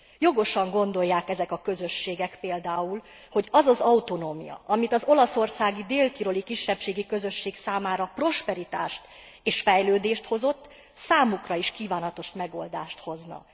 Jogosan gondolják ezek a közösségek például, hogy az az autonómia, ami az olaszországi dél tiroli kisebbségek számára prosperitást és fejlődést hozott, számukra is kívánatos megoldást hozna.